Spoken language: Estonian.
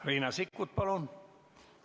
Riina Sikkut, palun!